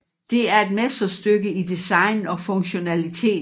Det er et mesterstykke i design og funktionalitet